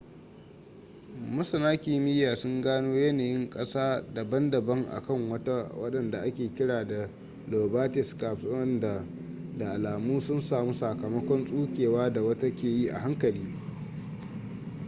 masana kimiyya sun gano yanayin kasa daban-daban a kan wata wadanda ake kira da lobate scarps wadanda da alamu sun samu sakamakon tsukewa da wata ke yi a hankali